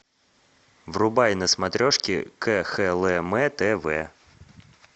врубай на смотрешке кхлм тв